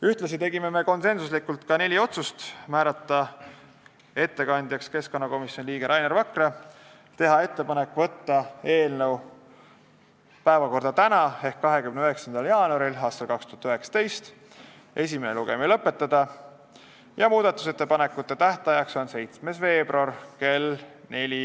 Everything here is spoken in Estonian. Ühtlasi tegime konsensuslikult neli otsust: määrata ettekandjaks keskkonnakomisjoni liige Rainer Vakra, teha ettepanek saata eelnõu päevakorda tänaseks ehk 29. jaanuariks aastal 2019, esimene lugemine lõpetada ja muudatusettepanekute esitamise tähtajaks määrata 7. veebruar kell 4.